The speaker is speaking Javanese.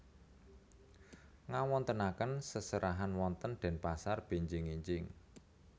Ngawontenaken seserahan wonten Denpasar benjing enjing